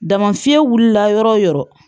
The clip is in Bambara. Dama fiɲɛ wulila yɔrɔ o yɔrɔ